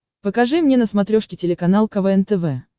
покажи мне на смотрешке телеканал квн тв